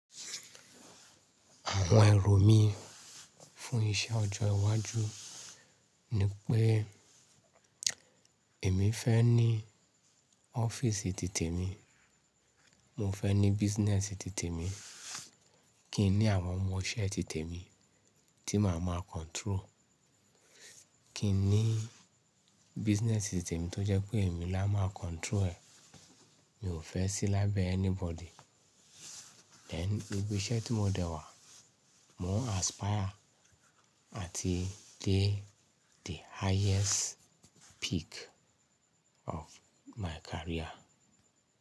Àwọn èrò mí fún iṣẹ́ ọjọ́ iwájú ni pé èmi fẹ́ ní ọ́fíìsì titẹ̀ mi, mo fẹ́ ní business titẹ̀ mi, kí n ní àwọn ọmọṣẹ́ titẹ̀ mi tí màá máa control. Kí n ní business titẹ̀ mi tó jẹ́ pé èmi lá máa control ẹ̀, mi ò fẹ́ sí lábẹ́ anybody. Then ní ibi iṣẹ́ tí mo dé wà mo n aspire àti dé the highest peak of my career.